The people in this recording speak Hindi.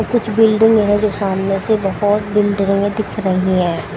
कुछ बिल्डिंग है जो सामने से बहुत बिल्डिंगें दिख रही हैं।